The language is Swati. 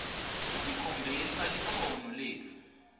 tikhombisa likhono letfu